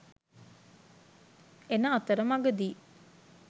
එන අතර මඟ දී